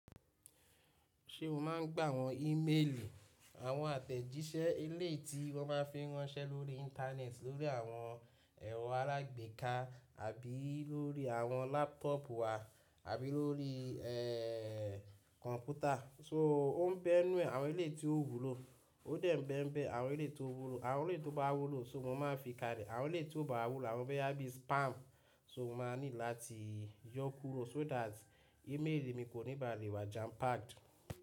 Ṣé o máa ń gbà àwọn ímeèlì, àwọn àtẹ̀jíṣẹ́ elé ti wọ́n bá fi ránṣẹ́ lórí íńtánẹ́ẹ̀tì lórí àwọn ẹ̀rọ alágbèéká àbí lórí àwọn lápútọ̀pù wa àbí lórí kọ̀ǹpútà. So o ń bẹ́ nu àwọn elé tí ó wúlò. Ó dẹ̀ ń bẹ́ ń bẹ́ àwọn elé tí ó wúlò. Àwọn elé tó bá wúlò so mo máa fi kàlẹ̀. Àwọn eléyii tí ò bá wúlò àwọn bo yá bí i spam so mo máa ní láti yọ kúrò so that ímeèlì mi kò ní ba lè wá jampacked.